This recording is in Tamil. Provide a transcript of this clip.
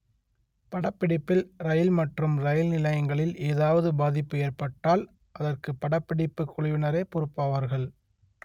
படப்பிடிப்பில் ரயில் மற்றும் ரெயில் நிலையங்களில் ஏதாவது பாதிப்பு ஏற்பட்டால் அதற்கு படப்பிடிப்பு குழுவினரே பொறுப்பாவார்கள்